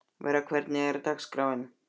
Vera, hvernig er dagskráin?